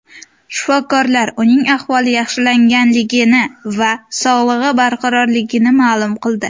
Shifokorlar uning ahvoli yaxshilanganligini va sog‘lig‘i barqarorligini ma’lum qildi.